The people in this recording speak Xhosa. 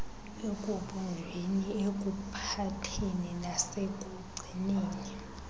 ekubunjweni ekuphatheni nasekugcineni